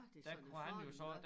Der kunne han jo så